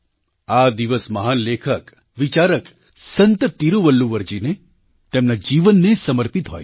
આ દિવસ મહાન લેખકવિચારક સંત તિરુવલ્લુવરજીને તેમના જીવનને સમર્પિત હોય છે